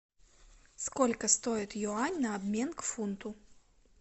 сколько стоит юань на обмен к фунту